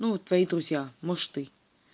ну твои друзья может ты